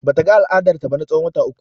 Bata ga al'adar ta ba na tsawon wata uku.